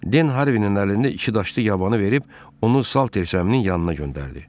Den Harvinin əlində iki daşlı yabanı verib, onu Saltersəminin yanına göndərdi.